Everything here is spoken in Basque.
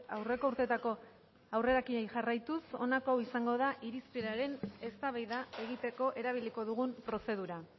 aurreko urteetako aurrerakinei jarraituz honako hau izango da irizpenaren eztabaida egiteko erabiliko dugun prozedura